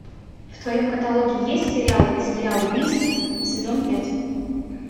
в твоем каталоге есть сериал земля убийств сезон пять